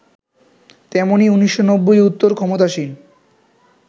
তেমনি ১৯৯০ উত্তর ক্ষমতাসীন